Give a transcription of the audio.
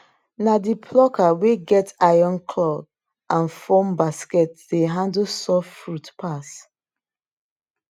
na the plucker wey get iron claw and foam basket dey handle soft fruit pass